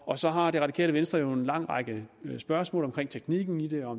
og så har det radikale venstre jo en lang række spørgsmål om teknikken i det og